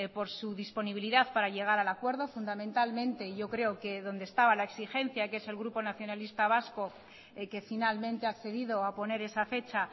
por su disponibilidad para llegar al acuerdo fundamentalmente yo creo que donde estaba la exigencia que es el grupo nacionalista vasco que finalmente ha accedido a poner esa fecha